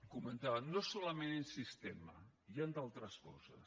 comentaven no solament el sistema hi han d’altres coses